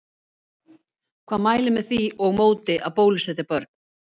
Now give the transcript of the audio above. Hvað mælir með því og móti að bólusetja börn?